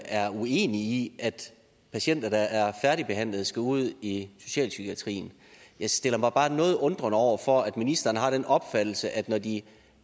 er uenige i at patienter der er færdigbehandlet skal ud i socialpsykiatrien jeg stiller mig bare noget undrende over for at ministeren har den opfattelse at når de